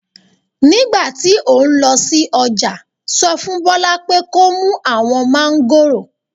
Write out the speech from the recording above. Nígbà tí o ń lọ sí ọjà sọ fún Bola pé kó mú àwọn Mangos